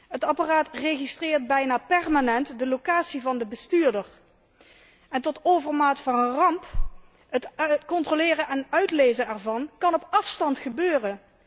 Het apparaat registreert bijna permanent de locatie van de bestuurder en tot overmaat van ramp kan het controleren en uitlezen ervan op afstand gebeuren.